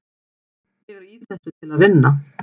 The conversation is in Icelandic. Ég er í þessu til að vinna.